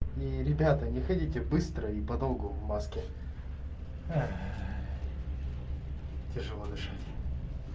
и ребята не хотите быстро и подолгу в маске тяжело дышать